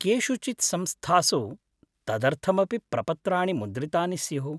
केषुचित् संस्थासु तदर्थमपि प्रपत्राणि मुद्रितानि स्युः।